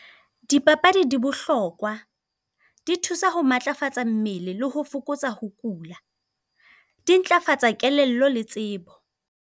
Dipapadi di bohlokwa, di thusa ho matlafatsa mmele leho fokotsa ho kula. Di ntlafatsa kelello le tsebo.